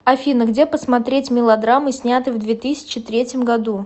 афина где посмотреть мелодрамы снятые в две тысяче третьим году